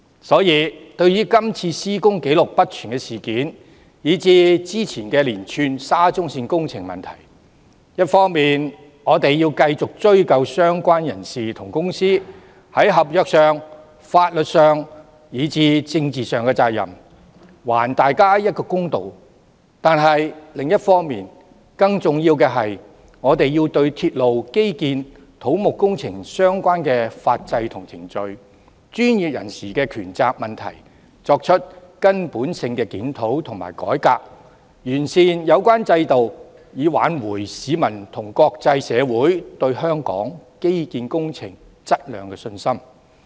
所以，對於今次施工紀錄不全的事件，以至之前的連串沙中線工程問題，我們一方面要繼續追究相關人士和公司在合約、法律和政治上的責任，還大家一個公道；另一方面，更重要的是我們要對鐵路、基建、土木工程相關的法制和程序及專業人士的權責問題作根本的檢討和改革，從而完善有關制度，以挽回市民和國際社會對香港基建工程質量的信心。